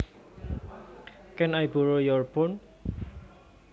Can I borrow your phone